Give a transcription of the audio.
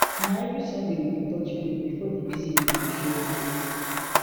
na every sunday we dey touch base before the busy week go show face